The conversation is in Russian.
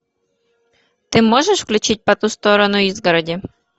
ты можешь включить по ту сторону изгороди